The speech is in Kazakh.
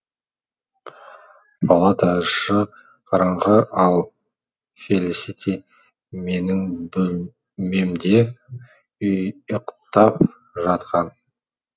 палата іші қараңғы ал фелисити менің бөлмемде ұйықтап жатқан